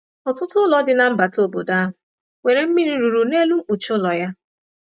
Ọtụtụ ụlọ dị na mbata obodo ahụ nwere mmiri ruru n’elu mkpuchi ụlọ ya.